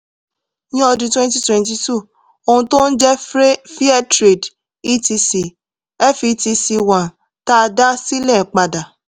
ní ọdún 2022 ohun tó ń jẹ́ fair trade etc fetc1 tá a dá sílẹ̀ padà